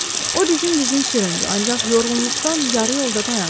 O dizin-dizin süründü, ancaq yorğunluqdan yarı yolda dayandı.